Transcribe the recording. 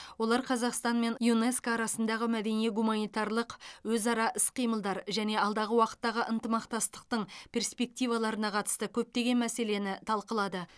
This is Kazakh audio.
олар қазақстан мен юнеско арасындағы мәдени гуманитарлық өзара іс қимылдар және алдағы уақыттағы ынтымақтастықтың перспективаларына қатысты көптеген мәселені талқылады